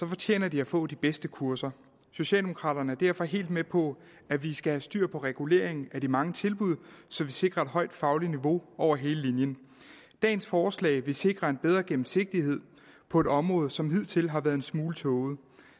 fortjener de at få de bedste kurser socialdemokraterne er derfor helt med på at vi skal have styr på reguleringen af de mange tilbud så vi sikrer et højt fagligt niveau over hele linjen dagens forslag vil sikre en bedre gennemsigtighed på et område som hidtil har været en smule tåget